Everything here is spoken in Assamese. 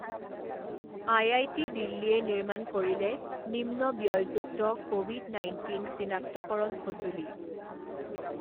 আইআইটি দিল্লীয়ে নিৰ্মাণ কৰিলে নিম্ন ব্যয়যুক্ত ক'ভিড নাইণ্টিন চিনাক্তকৰণ সঁজুলি